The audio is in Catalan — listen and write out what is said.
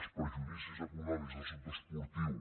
els perjudicis econòmics del sector esportiu